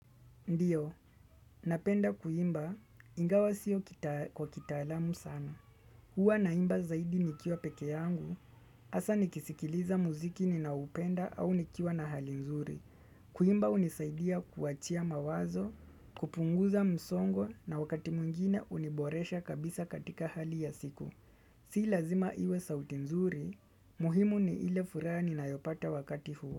Ndiyo, napenda kuimba, ingawa sio kwa kitaalamu sana. Huwa naimba zaidi nikiwa peke yangu, hasa nikisikiliza muziki ninaupenda au nikiwa na hali nzuri. Kuimba unisaidia kuachia mawazo, kupunguza msongo na wakati mwingine huniboresha kabisa katika hali ya siku. Sii lazima iwe sauti nzuri, muhimu ni ile furaha ninayopata wakati huo.